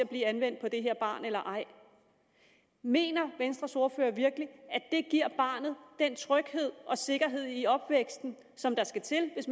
blive anvendt på det her barn eller ej mener venstres ordfører virkelig at barnet den tryghed og sikkerhed i opvæksten som der skal til hvis